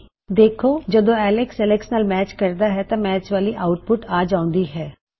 ਅਸੀਂ ਦੇਖ ਸਕਦੇ ਹਾਂ ਕਿ ਜਦੋਂ ਐਲਕਸ ਐਲਕਸ ਨਾਲ ਮੈਚ ਕਰਦਾ ਹੇ ਤਾਂ ਮੈਚ ਵਾਲੀ ਆੳਟਪੁਟ ਆ ਜਾਉਂਦੀ ਹੈ